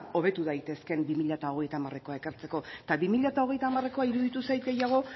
hobetu daitekeen bi mila hogeita hamarekoa ekartzeko eta bi mila hogeita hamarekoa iruditu zait gehiago